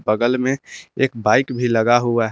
बगल में एक बाइक भी लगा हुआ है।